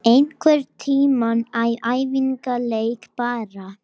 Einhverntímann í æfingaleik bara